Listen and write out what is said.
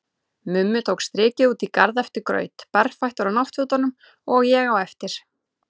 Mummi tók strikið út í garð eftir graut, berfættur á náttfötunum, og ég á eftir.